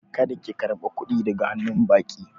Kada ki karba kuɗi daga hannu baƙi